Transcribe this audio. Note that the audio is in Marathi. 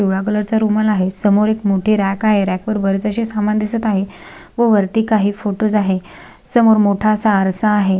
पिवळ्या कलर च रुमाल आहे समोर एक मोठी रॅक आहे रॅक वर बरेच अशे समान दिसत आहे व वरती काही फोटोस आहे समोर मोठा असा आरसा आहे.